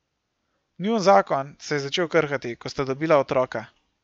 Njun zakon se je začel krhati, ko sta dobila otroka.